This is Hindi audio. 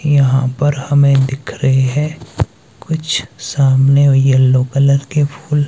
यहां पर हमें दिख रहे हैं कुछ सामने य येलो कलर के फूल।